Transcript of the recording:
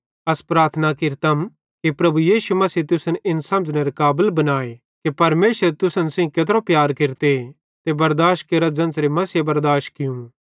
अस प्रार्थना केरतम कि प्रभु यीशु मसीह तुसन इन समझ़नेरे काबल बनाए कि परमेशर तुस सेइं केत्रो प्यार केरते ते बरदाश केरा ज़ेन्च़रे मसीहे बरदाश कियूं